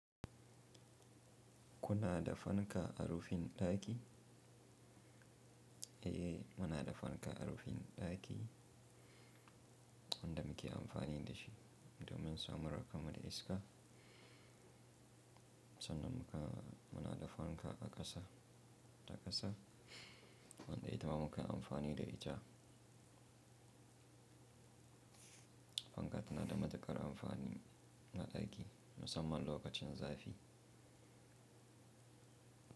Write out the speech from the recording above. Kuna da fanka a rufin ɗaki? Eh, muna da fanka a rufin ɗaki wanda muke amfani da shi domin samar da iska. Sannan muna da fanka a ƙasa, wanda ita muka yi amfani da ita. Fanka tana da matuƙar amfani na ɗaki musamman lokacin zafi.